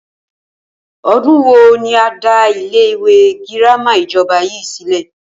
O̩dún wo ni a dá ilé ìwé girama ìjo̩ba yìí sílè̩?